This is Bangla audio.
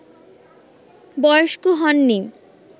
বয়স্ক হননি